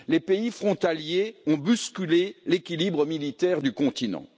Les pays frontaliers ont bousculé l'équilibre militaire du continent.